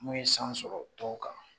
N'o ye san sɔrɔ tɔw kan